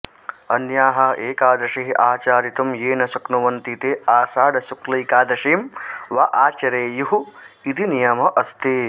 अन्याः एकादशीः आचरितुं ये न शक्नुवन्ति ते आषाढशुक्लैकादशीं वा आचरेयुः इति नियमः अस्ति